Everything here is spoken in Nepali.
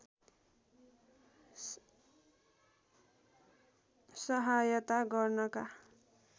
सहायता गर्नका